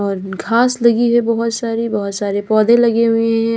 घास लगी है बहोत सारी बहोत सारे पौधे लगे हुए हैं यहां।